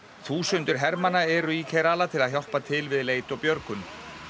þúsundir hermanna eru í til að hjálpa til við leit og björgun